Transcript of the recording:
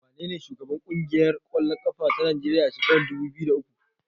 Wanene shugaban ƙungiyar ƙwallon ƙafa ta Najeriya a shekarar dubu biyu da uku?